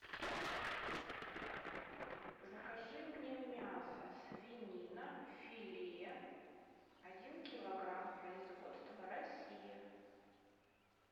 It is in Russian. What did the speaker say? закажи мне мясо свинина филе один килограмм производство россия